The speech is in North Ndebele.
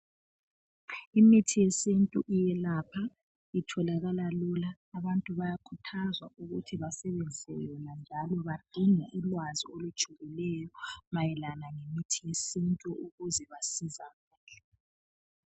Imithi yesintu iyelapha. Itholakala lula. Abantu bayakhuthazwa ukuthi basebenzisa yona njalo badinge ulwazi olujulileyo mayelana ngemithi yesintu ukuze basizakale.